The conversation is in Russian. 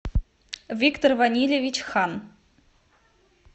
виктор ванильевич хан